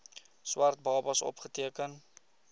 swart babas opgeteken